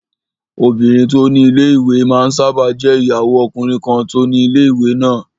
Obìnrin tó ni ilé-ìwé máa n sáábà jẹ́ ìyàwó ọkùnrin kan tó ni ilé-ìwé náà